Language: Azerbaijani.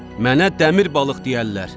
Mənə dəmir balıq deyərlər.